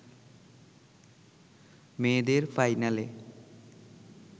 মেয়েদের ফাইনালে